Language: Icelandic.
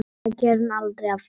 Það gerði hún aldrei aftur.